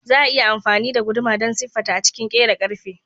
Za a iya amfani da guduma don siffata a cikin kera ƙarfe.